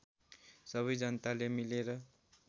सबै जनताले मिलेर